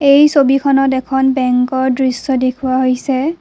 এই ছবিখনত এখন বেঙ্কৰ দৃশ্য দেখুওৱা হৈছে।